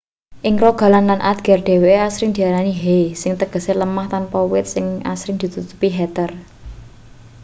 ing rogaland lan agder dheweke asring diarani hei sing tegese lemah tanpa wit sing asring ditutupi heather